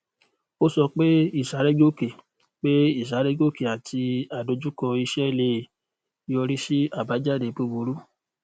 ó sọ pé ìsárégòkè pé ìsárégòkè àti àdojúkọ iṣẹ lè yọrí sí abajade búburú